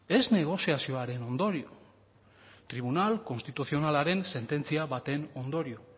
ez negoziazioaren ondorio tribunal konstituzionalaren sententzia baten ondorio